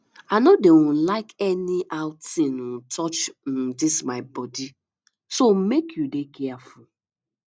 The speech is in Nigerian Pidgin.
i no dey um like anyhow thing um touch um dis my body so make you dey careful